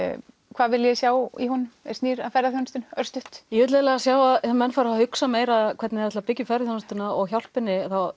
hvað viljið þið sjá í honum sem snýr að ferðaþjónustu örstutt ég vil eiginlega sjá að menn fari að hugsa meira hvernig þeir ætli að byggja ferðaþjónustuna og hjálpa henni